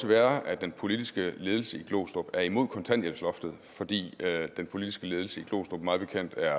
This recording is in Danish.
være at den politiske ledelse i glostrup er imod kontanthjælpsloftet fordi den politiske ledelse i glostrup mig bekendt er